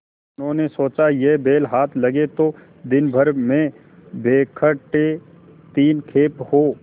उन्होंने सोचा यह बैल हाथ लगे तो दिनभर में बेखटके तीन खेप हों